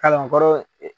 Kalankɔrɔ